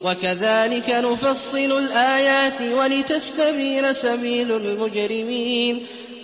وَكَذَٰلِكَ نُفَصِّلُ الْآيَاتِ وَلِتَسْتَبِينَ سَبِيلُ الْمُجْرِمِينَ